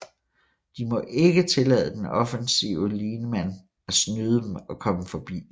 De må ikke tillade den offensive lineman at snyde dem og komme forbi